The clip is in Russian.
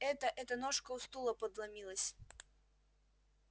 это это ножка у стула подломилась